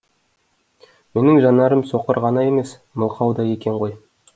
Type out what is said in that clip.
менің жанарым соқыр ғана емес мылқау да екен ғой